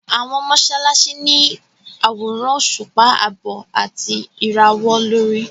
Àwọn mọ́sálásí ní àwòrán òṣùpá àbọ̀ àti ìràwọ̀ lórí.